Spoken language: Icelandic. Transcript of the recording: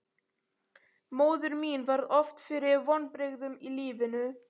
Móðir mín varð oft fyrir vonbrigðum í lífinu.